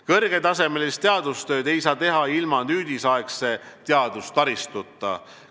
Kõrgetasemelist teadustööd ei saa teha ilma nüüdisaegse teadustaristuta.